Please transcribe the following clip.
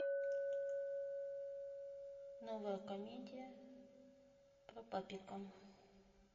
новая комедия про папика